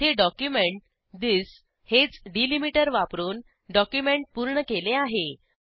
येथे document this हेच delimiter वापरून डॉक्युमेंट पूर्ण केले आहे